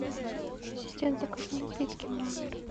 ассистент закажи напитки в номер